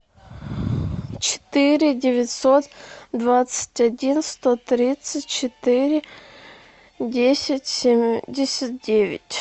четыре девятьсот двадцать один сто тридцать четыре десять семьдесят девять